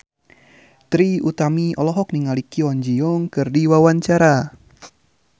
Trie Utami olohok ningali Kwon Ji Yong keur diwawancara